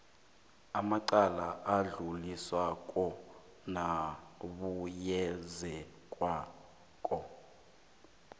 amacala adluliswako nabuyekezwako